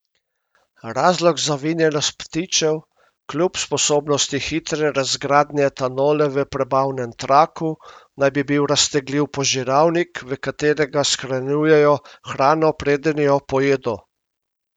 Razlog za vinjenost ptičev, kljub sposobnosti hitre razgradnje etanola v prebavnem traku, naj bi bil raztegljiv požiralnik, v katerega shranjujejo hrano preden jo pojedo.